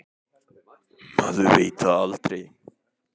Maður veit það aldrei.